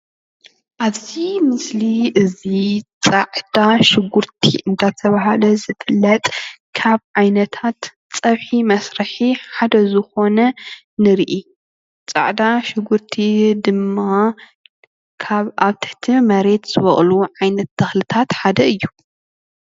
አብዚ ምስሊ እዚ ፃዕዳ ሽጉርቲ እንዳተበሃለ ዝፍለጥ ካብ ዓይነታት ፀብሒ መስርሒ ሓደ ዝኮነ ንርኢ። ፃዕዳ ሽጉርቲ ድማ ካብ አብ ትሕቲ መሬት ዝቦቅሉ ዓይነት ተክልታት ሓደ እዩ።